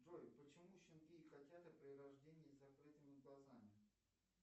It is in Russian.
джой почему щенки и котята при рождении с закрытыми глазами